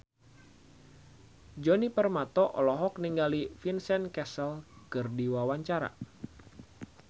Djoni Permato olohok ningali Vincent Cassel keur diwawancara